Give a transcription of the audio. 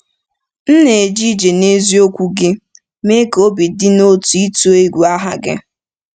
M na-eje ije n'eziokwu gị. Mee ka obi m dị n’otu ịtụ egwu aha gị. ”